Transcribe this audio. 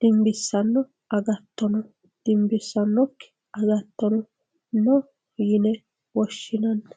dimbissanno agatto no dimbissannokki agatto no yine woshshinanni.